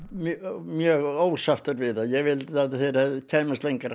mjög ósáttur við það ég vildi að þeir kæmust lengra